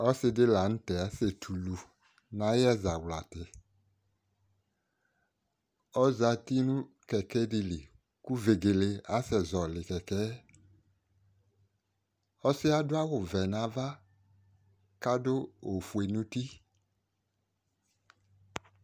Ɔsidi la nu tɛ asetulu ayɛ zaɣlati ɔzati nu kɛkɛdili ku vegele asɛ zɔli kɛkɛ yɛ ɔsiɛ adu awu vɛ nuava kadu ofue nu uti